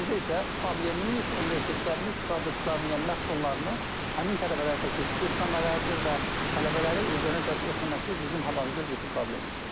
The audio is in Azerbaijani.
Amma bizdə isə problemimiz universitetlərimiz produktlarını, yəni məhsullarını həmin tələbələrə təklif etməmələridir və tələbələri özlərinə cəlb etməməsi bizim hal-hazırda ciddi problemimizdir.